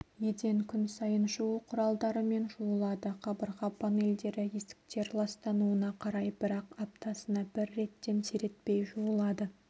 еден күн сайын жуу құралдарымен жуылады қабырға панельдері есіктер ластануына қарай бірақ аптасына бір реттен сиретпей жуылады